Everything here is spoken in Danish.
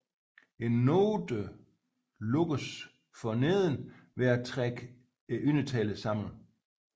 Noten lukkes for neden ved at trække undertællen sammen